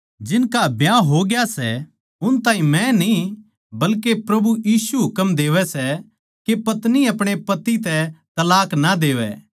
जिनका ब्याह होग्या सै उन ताहीं मै न्ही बल्के प्रभु यीशु हुकम देवै सै के पत्नी अपणे पति तै तलाक ना देवै